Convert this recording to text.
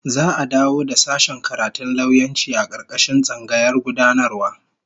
Za'a dawo da sashen karatun lauyanci a karkashin tsangayar gudanarwa